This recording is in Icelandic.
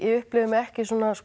upplifi mig ekki